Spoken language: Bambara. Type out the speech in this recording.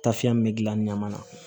Tafiyɛn min bɛ gilan ni ɲama na